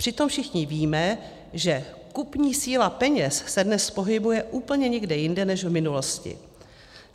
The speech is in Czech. Přitom všichni víme, že kupní síla peněz se dnes pohybuje úplně někde jinde než v minulosti.